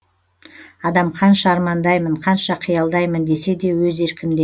адам қанша армандаймын қанша қиялдаймын десе де өз еркінде